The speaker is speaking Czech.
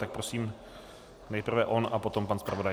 Tak prosím, nejprve on a potom pan zpravodaj.